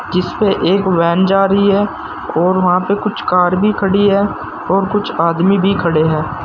जिसपे एक वैन जा रही है और वहां पे कुछ कार भी खड़ी है और कुछ आदमी भी खड़े हैं।